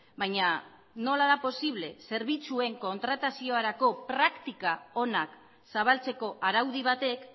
baina nola da posible zerbitzuen kontrataziorako praktika onak zabaltzeko araudi batek